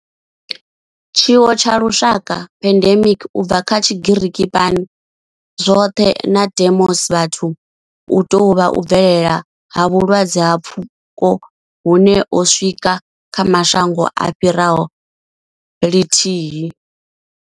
Tshiwo tsha lushaka pandemic, u bva kha Tshigiriki pan, zwoṱhe na demos, vhathu hu tou vha u bvelela ha vhulwadze ha pfuko hune ho swika kha mashango a fhiraho lithihi.